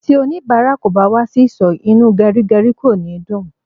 Ti onibara kò bá wà sì ìsò, inú gerigeri kò ní dùn